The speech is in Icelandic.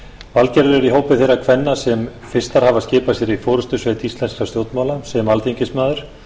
valgerður er í hópi þeirra kvenna sem fyrstar hafa skipað sér í forustusveit íslenskra stjórnmála sem alþingismaður